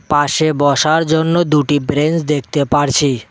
পাশে বসার জন্য দুটি ব্রেঞ্চ দেখতে পারছি।